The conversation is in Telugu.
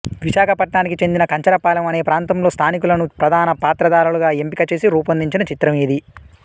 విశాఖపట్నానికి చెందిన కంచరపాలెం అనే ప్రాంతంలో స్థానికులను ప్రధాన పాత్రధారులుగా ఎంపిక చేసి రూపొందించిన చిత్రం ఇది